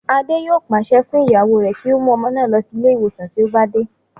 Adé yòó pàṣẹ fún ìyàwó rẹ̀ kí ó mú ọmọ náà lọ sí ilé ìwòsàn tí ó bá dé